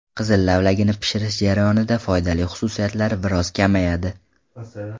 Qizil lavlagini pishirish jarayonida foydali xususiyatlari biroz kamayadi.